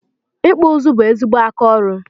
ikpụ ụzụ bụ ezigbo aka ọrụ